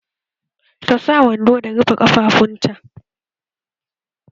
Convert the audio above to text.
Ta sa wando da ya rufe ƙafafunta